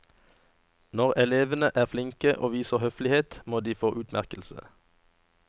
Når elevene er flinke og viser høflighet, må de få utmerkelse.